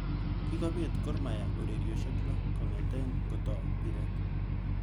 Kikobet Gor mahia orerioshek lo kongetkei ngotoi mpiret.